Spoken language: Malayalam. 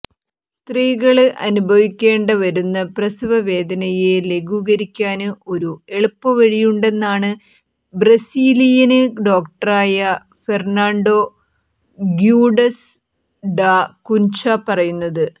സ്ത്രീകള് അനുഭവിക്കേണ്ട വരുന്ന പ്രസവ വേദനയെ ലഘൂകരിക്കാന് ഒരു എളുപ്പവഴിയുണ്ടെന്നാണ് ബ്രസീലിയന് ഡോക്ടറായ ഫെര്ണാണ്ടോ ഗ്യൂഡസ് ഡാ കുന്ചാ പറയുന്നത്